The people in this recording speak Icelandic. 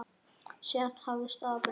Síðan þá hefur staðan breyst.